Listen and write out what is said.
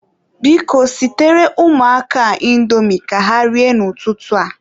Biko, sitere ụmụaka a indomi ka ha rie n'ụtụtụ a.